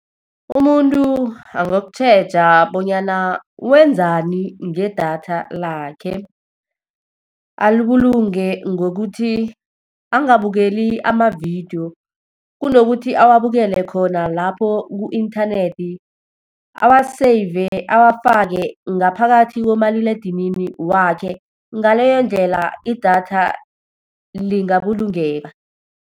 Umuntu angokutjheja bonyana wenzani ngedatha lakhe. Alibulunge ngokuthi angabukeli amavidiyo, kunokuthi awabukele khona lapho ku-inthanethi, awa-save, awafake ngaphakathi komaliledinini wakhe. Ngaleyondlela idatha lingabulungeka.